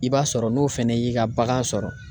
I b'a sɔrɔ n'o fɛnɛ y'i ka bagan sɔrɔ.